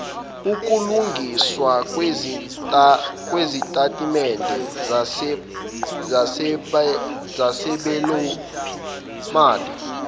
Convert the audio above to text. ukulungiswa kwezitatimende zesabelomali